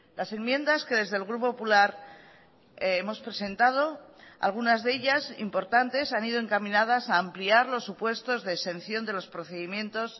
las enmiendas que desde el grupo popular hemos presentado algunas de ellas importantes han ido encaminadas a ampliar los supuestos de exención de los procedimientos